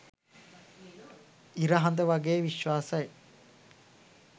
ඉර හද වගේ විශ්වාසයි